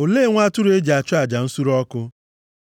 olee nwa atụrụ e ji achụ aja nsure ọkụ?”